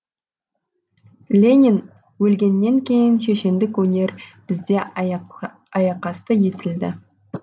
ленин өлгеннен кейін шешендік өнер бізде аяқасты етілді